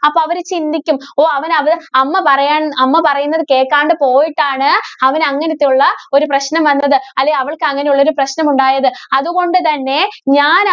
അപ്പോ അവര് ചിന്തിക്കും. ഓ അവന്‍ അത് അമ്മ പറയാൻ അമ്മ പറയുന്നത് കേക്കാണ്ട് പോയിട്ടാണ് അവന് അങ്ങനത്തുള്ള ഒരു പ്രശ്നം വന്നത്. അല്ലേ അവള്‍ക്ക് അങ്ങനെയുള്ള ഒരു പ്രശ്നം ഉണ്ടായത് അതുകൊണ്ട് തന്നെ ഞാന~